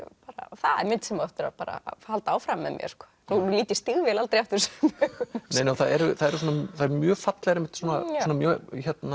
það er mynd sem á eftir að halda áfram með mér nú lít ég stígvél aldrei aftur sömu augum það eru það eru mjög fallegar mjög